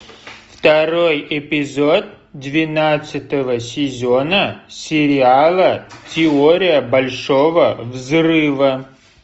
второй эпизод двенадцатого сезона сериала теория большого взрыва